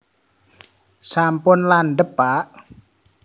sampun landhep pak